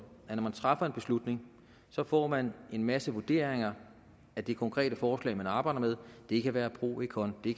at når man træffer en beslutning får man en masse vurderinger af det konkrete forslag man arbejder med det kan være pro et contra det